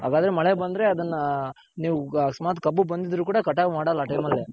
ಹಾಗಾದ್ರೆ ಮಳೆ ಬಂದ್ರೆ ಅದನ್ನ ನೀವ್ ಅಕಸ್ಮಾತ್ ಕಬ್ಬು ಬಂದಿದ್ರು ಕೂಡ ಕಟಾವ್ ಮಾಡಲ್ಲ ಆ time ಅಲ್ಲಿ .